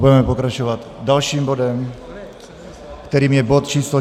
Budeme pokračovat dalším bodem, kterým je bod číslo